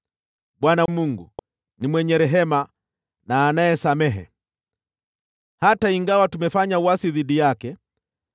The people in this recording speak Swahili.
Bwana Mungu wetu ni mwenye rehema na anayesamehe, hata ingawa tumefanya uasi dhidi yake.